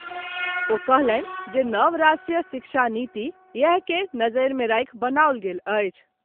ओ कहलनि जे नव राष्ट्रीय शिक्षा नीति इएह के नजरि मे राखि बनाओल गेल अछि।